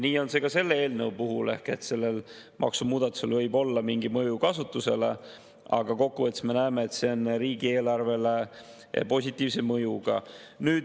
Nii on see ka selle eelnõu puhul ehk sellel maksumuudatusel võib olla mingi mõju kasutusele, aga kokkuvõttes me näeme, et see on riigieelarvele positiivse mõjuga.